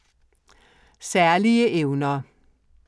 Særlige evner